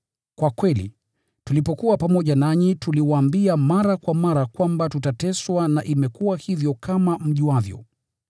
Kwa kweli, tulipokuwa pamoja nanyi tuliwaambia mara kwa mara kwamba tutateswa na imekuwa hivyo kama mjuavyo.